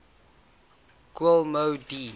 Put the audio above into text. kool moe dee